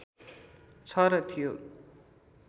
छ र थियो